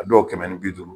A dɔw kɛmɛ ni bi duuru